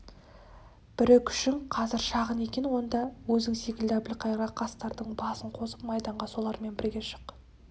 бірі күшің қазір шағын екен онда өзің секілді әбілқайырға қастардың басын қосып майданға солармен бірге шық